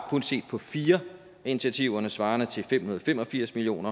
kun set på fire af initiativerne svarende til fem hundrede og fem og firs million